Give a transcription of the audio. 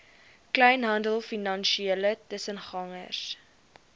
kleinhandel finansiële tussengangers